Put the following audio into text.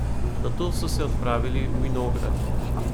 Nato so se odpravili v vinograd.